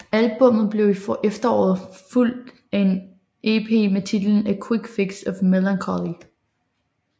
Albummet blev i efteråret fulgt af en ep med titlen A Quick Fix of Melancholy